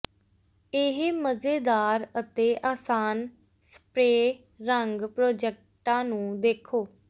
ਇਹ ਮਜ਼ੇਦਾਰ ਅਤੇ ਆਸਾਨ ਸਪਰੇਅ ਰੰਗ ਪ੍ਰੋਜੈਕਟਾਂ ਨੂੰ ਦੇਖੋ